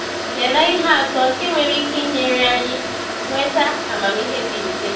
Lelee ihe atọ nke nwere ike inyere anyị nweta amamihe dị mfe.